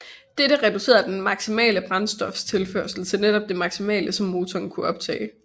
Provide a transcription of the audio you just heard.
Dette reducerede den maksimale brændstoftilførsel til netop det maksimale som motoren kunne optage